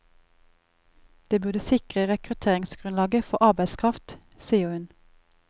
Det burde sikre rekrutteringsgrunnlaget for arbeidskraft, sier hun.